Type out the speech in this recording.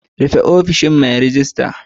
Rufe ofishin mai ragista.